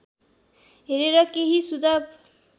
हेरेर केही सुझाव